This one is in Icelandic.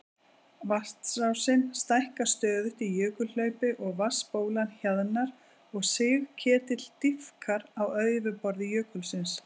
Vatnsrásin stækkar stöðugt í jökulhlaupi og vatnsbólan hjaðnar og sigketill dýpkar á yfirborði jökulsins.